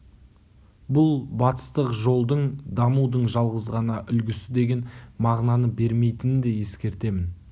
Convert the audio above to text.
бұл батыстық жолдың дамудың жалғыз ғана үлгісі деген мағынаны бермейтінін де ескертемін